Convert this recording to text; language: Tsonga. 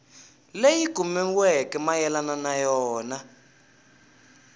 leyi kumiweke mayelana na yona